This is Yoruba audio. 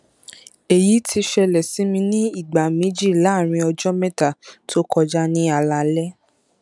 èyí ti ṣẹlẹ sí mi ní ìgbà méjì láàárín ọjọ mẹta tó kọjá ní alaalẹ